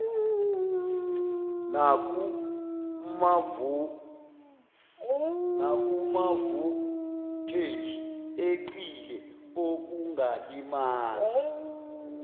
nakumavoltheji eqile okungalimaza